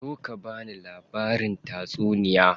Zo ka bani labarin tatsuniya.